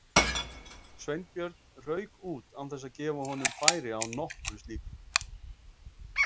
Sveinbjörn rauk út án þess að gefa honum færi á nokkru slíku.